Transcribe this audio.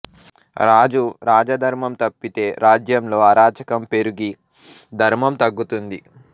రాజు రాజధర్మం తప్పితే రాజ్యంలో అరాచకం పెరుగి ధర్మం తగ్గుతుంది